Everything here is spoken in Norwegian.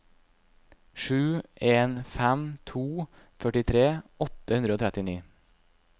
sju en fem to førtitre åtte hundre og trettini